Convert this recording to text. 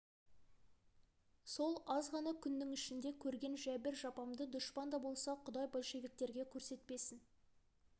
сол аз ғана күннің ішінде көрген жәбір-жапамды дұшпан да болса құдай большевиктерге көрсетпесін